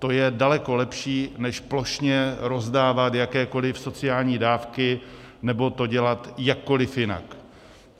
To je daleko lepší než plošně rozdávat jakékoli sociální dávky nebo to dělat jakkoliv jinak.